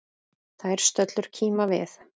Þær stöllur kíma við.